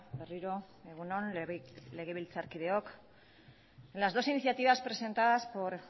berriro egun on legebiltzarkideok las dos iniciativas presentadas por